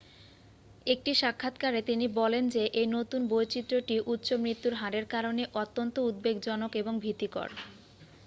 "একটি সাক্ষাৎকারে তিনি বলেন যে এই নতুন বৈচিত্র্যটি "উচ্চ মৃত্যুর হারের কারণে অত্যন্ত উদ্বেগজনক এবং ভীতিকর।